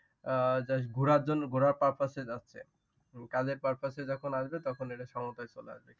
আহ just ঘোরার purpose এ যাচ্ছে। কাজের purpose যখন আসবে তখন এটা সমতায় চলে আসবে।